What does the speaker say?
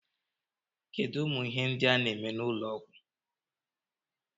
Kedu umu Ihe ndi a na eme n'ulo Ọgwụ?